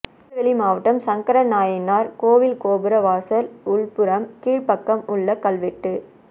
திருநெல்வேலி மாவட்டம் சங்கரநாயினார் கோவில் கோபுர வாசல் உள்புறம் கீழ்பக்கம் உள்ள கல்வெட்டு